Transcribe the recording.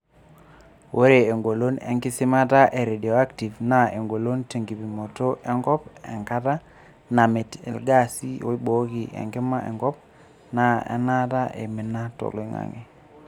Ore engolon enkisimata e radioactive[RF] naa engolon tenkipimoto enkop, enkata, namit ilgaasi oibooki enkima enkop, naa enaata eimina toloingange.